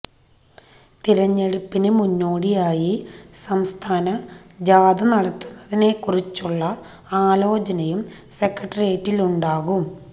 തിരഞ്ഞെടുപ്പിന് മുന്നോടിയായി സംസ്ഥാന ജാഥ നടത്തുന്നതിനെ കുറിച്ചുള്ള ആലോചനയും സെക്രട്ടേറിയറ്റിലുണ്ടാകും